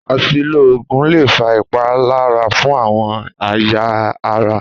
Àsìlò oògùn lè fa ìpalára fún àwon èyà ara.